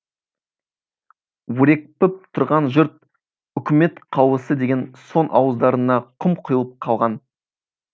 өрекпіп тұрған жұрт үкімет қаулысы деген соң ауыздарына құм құйылып қалған